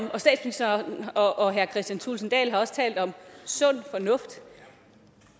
og statsministeren og herre kristian thulesen dahl har også talt om sund fornuft